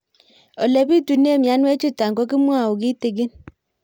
Ole pitune mionwek chutok ko kimwau kitig'ín